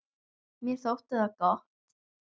Mér þótti það gott.